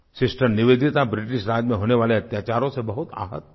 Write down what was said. sister Nivedita British Raj में होने वाले अत्याचारों से बहुत आह्त थीं